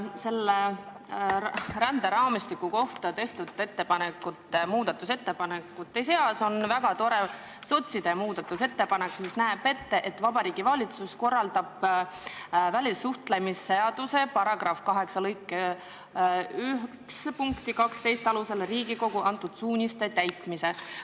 Selle ränderaamistiku kohta tehtud muudatusettepanekute seas on väga tore sotside muudatusettepanek, mis näeb ette, et Vabariigi Valitsus korraldab välissuhtlemisseaduse § 8 lõike 1 punkti 12 alusel Riigikogu antud suuniste täitmise.